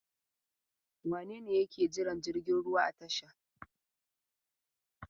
Wane ne yake jiran jirgin ruwa a tasha?